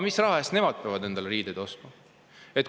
Mis raha eest peavad nemad endale riideid ostma?